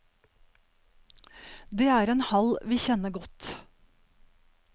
Det er en hall vi kjenner godt.